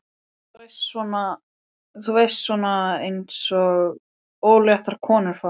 Þú veist, svona eins og óléttar konur fá.